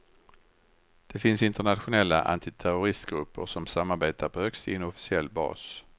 Det finns internationella antiterroristgrupper som samarbetar på högst inofficiell bas.